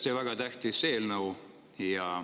Tõesti väga tähtis eelnõu.